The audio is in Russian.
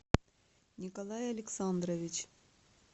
николай александрович